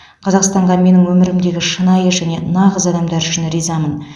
қазақстанға менің өмірімдегі шынайы және нағыз адамдар үшін ризамын